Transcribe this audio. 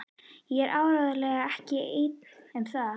Og ég er áreiðanlega ekki einn um það.